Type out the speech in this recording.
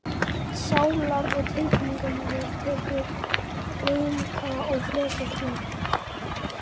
Sálar- og tilfinningalífið tekur að grynnka og fletjast út.